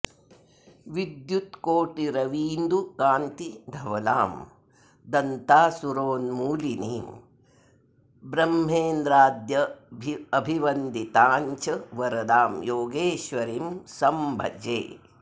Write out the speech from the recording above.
विद्युत्कोटिरवीन्दुकान्ति धवलां दन्तासुरोन्मूलिनीं ब्रह्मेन्द्राद्यभिवन्दितां च वरदां योगेश्वरीं संभजे